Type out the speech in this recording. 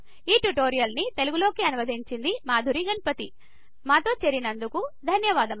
ఈ ట్యుటోరియల్ని తెలుగులోకి అనువాదం మాధురి గణపతి మాతో చేరినందుకు ధన్యవాదాలు